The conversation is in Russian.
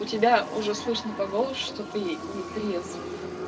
у тебя уже слышно по голосу что ты нетрезв